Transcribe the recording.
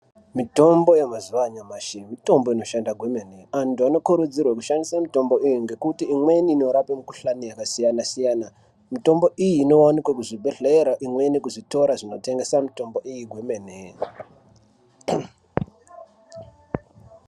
Mitombo yemazuva anyamashi mitombo inoshanda kwemene antu anokurudzirwa kushandisa mitombo iyi ngekuti imweni inorapa mikuhlani yakasiyana-siyana mitombo iyi inowanikwa kuzvibhedhlera imweni kuzvitoro zvinotengesa mitombo iyi kwemene.